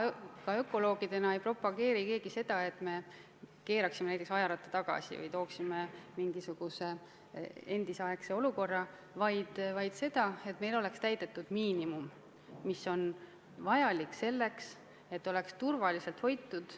Me ökoloogidena ei propageeri seda, et me keeraksime ajaratta tagasi ja looksime mingisuguse endisaegse olukorra, vaid seda, et meil oleks täidetud miinimum, mis on vajalik selleks, et Eesti loodus oleks turvaliselt hoitud.